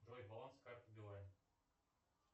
джой баланс карты билайн